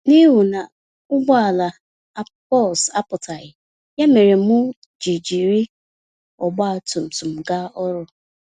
N'ihu na ụgbọala bus apụtaghị, ya méré m ji jiri ọgba tum tum gaa ọrụ.